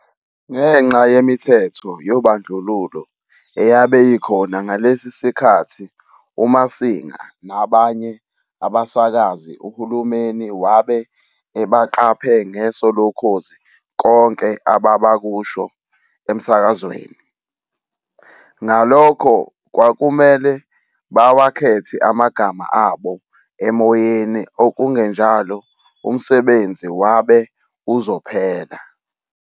Ngenxa yemithetho yobandluluo eyabe ikhona ngalesi sikhathi Muasinga nabanye abasakazi uhulumeni wabe ebaqaphe ngeso lokhozi konke ababakusho emsakazweni, ngalokhu kwakumele bawakhethe amagama abo emoyeni okungenjalo umsebenzi wabe uzophela.